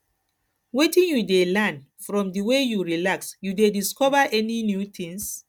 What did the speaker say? wetin you dey learn from di way you relax you dey discover any new tings